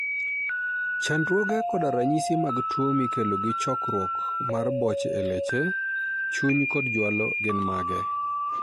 Chandruoge koda ranyisi mag tuo mikelo gi chokruok mar boche e leche, chuny kod jwalo gin mage?